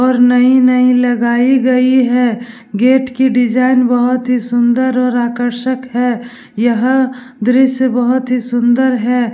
और नई- नई लगई गयी है। गेट की डिज़ाइन बहुत ही सुन्दर और आकर्सक है। यह दृश्य बहुत ही सुन्दर है।